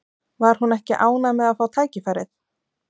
Var hún ekki ánægð með að fá tækifærið?